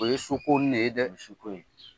O ye su ko nin de ye dɛ ! O ye su ko ye.